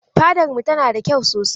Fadar mu tana da kyau sosai.